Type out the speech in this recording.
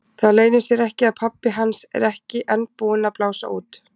Það leynir sér ekki að pabbi hans er ekki enn búinn að blása út.